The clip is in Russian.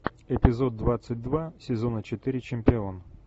эпизод двадцать два сезона четыре чемпион